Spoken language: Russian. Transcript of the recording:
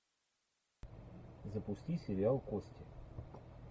запусти сериал кости